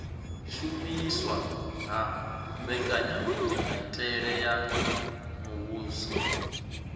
shumiswa ha mbekanyamitele ya muvhuso